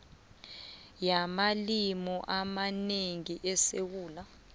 yamalimi amanengi esewula